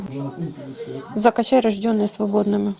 закачай рожденные свободными